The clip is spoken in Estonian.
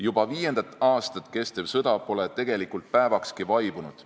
Juba viiendat aastat kestev sõda pole tegelikult päevakski vaibunud.